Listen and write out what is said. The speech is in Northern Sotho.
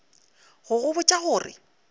go go botša go re